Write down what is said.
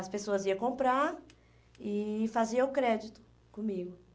As pessoas iam comprar e faziam o crédito comigo.